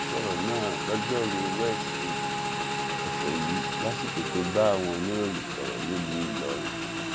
ó sọrọ náà lojoruu weside ọsẹ yìí lásìkò tó bá àwọn oníròyìn sọrọ nílùú ìlọrin